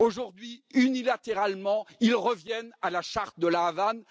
Aujourd'hui, unilatéralement, ils reviennent à la charte de La Havane.